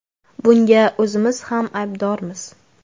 Bunga o‘zimiz ham aybdormiz.